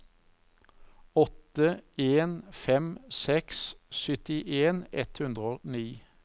åtte en fem seks syttien ett hundre og ni